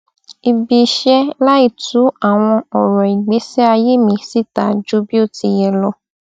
ibiiṣẹ láì tú àwọn ọrọ ìgbésíayé mi síta ju bí o ti yẹ lọ